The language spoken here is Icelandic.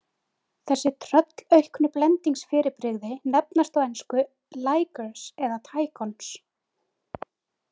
Þessi tröllauknu blendingsfyrirbrigði nefnast á ensku ligers eða tigons.